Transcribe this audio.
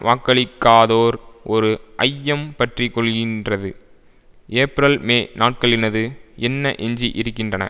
வாக்களிக்காதோர் ஒரு ஐயம் பற்றிக்கொள்கின்றது ஏப்பிரல்மே நாட்களினது என்ன எஞ்சி இருக்கின்றன